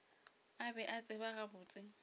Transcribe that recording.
a be a tseba gabotse